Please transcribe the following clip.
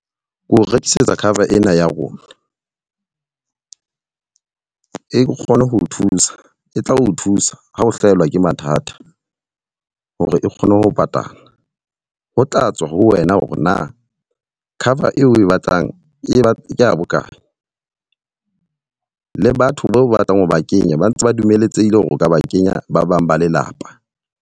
Ke o rekisetsa cover ena ya rona. E kgone ho o thusa, e tla o thusa ha o hlahelwa ke mathata hore e kgone ho patala. Ho tla tswa ho wena hore na cover eo o e batlang ke ya bokae. Le batho bao batlang ho ba kenya ba ntse ba dumeletsehile hore o ka ba kenya ba bang ba lelapa.